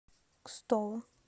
кстово